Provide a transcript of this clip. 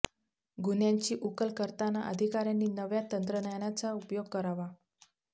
गुन्ह्यांची उकल करतांना अधिकाऱ्यांनी नव्या तंत्रज्ञानाचा उपयोग करावा